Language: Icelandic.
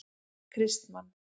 Kristmann